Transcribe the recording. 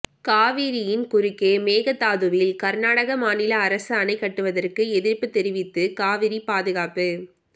காவிரியின் குறுக்கே மேகதாதுவில் கர்நாடக மாநில அரசு அணை கட்டுவதற்கு எதிர்ப்பு தெரிவித்து காவிரி பாதுகாப்பு